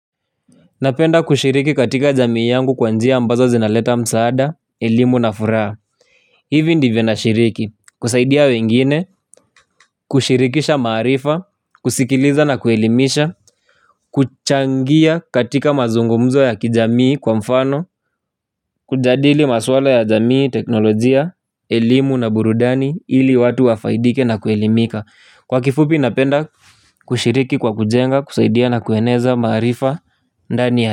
Napenda kushiriki katika jamii yangu kwanjia ambazo zinaleta msaada, elimu na furaha. Hivi ndivyo na shiriki, kusaidia wengine, kushirikisha maarifa, kusikiliza na kuelimisha kuchangia katika mazungumzo ya kijamii kwa mfano kujadili maswala ya jamii, teknolojia, elimu na burudani ili watu wafaidike na kuelimika. Kwa kifupi napenda kushiriki kwa kujenga, kusaidia na kueneza maarifa, ndani ya.